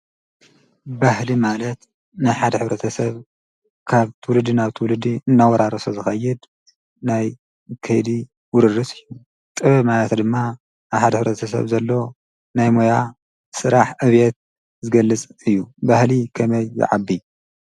ባህሊ ማለት ናይ ሓደ ሕ/ሰብ ካብ ትውልዲ ናብ ትውልዲ እናወራረሰ ዝከይድ ናይ ከይዲ ውርርስ እዩ፡፡ ጥበብ ማለት ድማ ኣብ ሓደ ሕ/ሰብ ዘሎ ናይ ሞያ ስራሕ ዕቤት ዝገልፅ እዩ፡፡ ባህሊ ከመይ ይዓቢ?